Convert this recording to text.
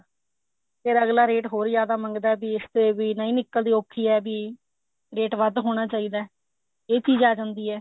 ਫੇਰ ਅੱਗਲਾ ਰੇਟ ਹੋਰ ਜਿਆਦਾ ਮੰਗਦਾ ਵੀ ਇਸ ਤੇ ਵੀ ਨਹੀਂ ਨਿਕਲਦੀ ਔਖੀ ਹੈ ਇਹ ਵੀ ਰੇਟ ਵੱਧ ਹੋਣਾ ਚਾਹੀਦਾ ਇਹ ਚੀਜ ਆ ਜਾਂਦੀ ਐ